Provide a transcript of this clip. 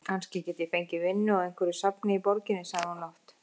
Kannski ég geti fengið vinnu á einhverju safni í borginni sagði hún lágt.